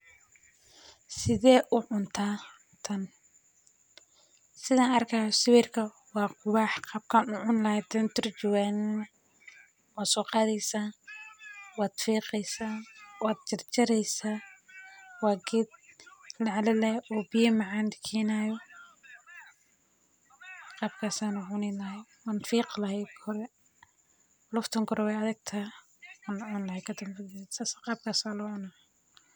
Sidhe u cunta tan sithan arkayo sawirka waa qiwax sithan u cuni lahay hadan turjuwamana waa soqadheysa waa fiqeysa wad jar jareysa waa geed lacalalayo oo biya macan kenayo qabkas ayan u cuni lahay wan fiqi lahay ogore laftan kore wey adagtahay wan cuni lahay kadanbe sas qabkas aya lo cuna.